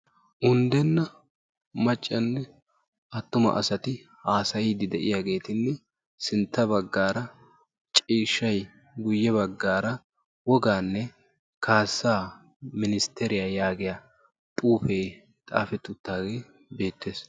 Undenna maccanne attuma asati haasayiiddi de'iyageetinne sintta baggaara ciishshayi guyye baggaara wogaanne kaassaa ministteriya yaagiya xuufee xaafetti uttaagee beettes.